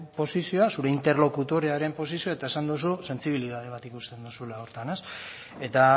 posizioa zure interlokutorearen posizioa eta esan duzu sentsibilitate bat ikusten duzula horretan eta